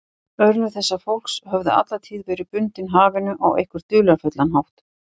Örlög þessa fólks höfðu alla tíð verið bundin hafinu á einhvern dularfullan hátt.